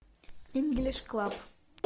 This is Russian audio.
инглиш клаб